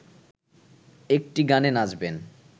একটি গানে নাচবেন